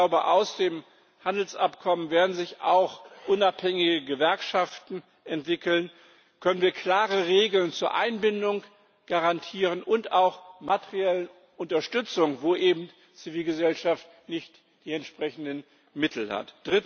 Ich glaube, aus dem Handelsabkommen werden sich auch unabhängige Gewerkschaften entwickeln, können wir klare Regeln zur Einbindung garantieren und auch materielle Unterstützung, wo eben die Zivilgesellschaft nicht die entsprechenden Mittel hat.